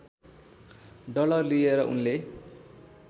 dollar लिएर उनले